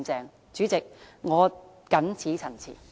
代理主席，我謹此陳辭。